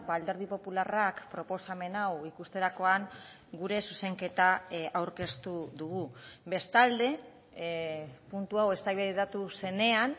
alderdi popularrak proposamen hau ikusterakoan gure zuzenketa aurkeztu dugu bestalde puntu hau eztabaidatu zenean